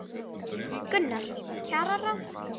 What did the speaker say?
Gunnar: Kjararáð?